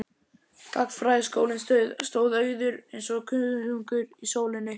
Gagnfræðaskólinn stóð auður eins og kuðungur í sólinni.